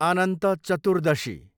Anant Chaturdashi